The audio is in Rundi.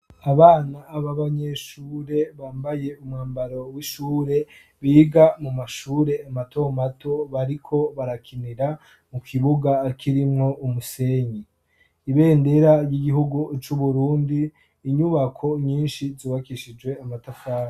abana babanyeshure bambaye umwambaro w'ishure biga mu mashure matomato bariko barakinira mu kibuga kirimwo umusenyi ibendera ry'igihugu c'uburundi inyubako nyinshi zubakishijwe amatafari